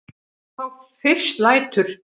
Þá fyrst lætur